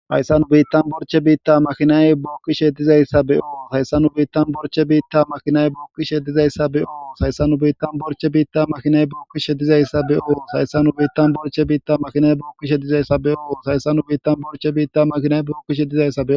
hayssannu biittan borche biitta makinay bukkishe dizayssa beo sayssannu biittan borche biitta makinay bukkishe dizayssa be oo sayssannu biittan borche biitta makhinay bukkishe dizayssa beoo sayssanu biittan borche biitta makinay bukkishe dizayssa beoo sayssanu biittan borche biitta makinay bukkishe dizayssa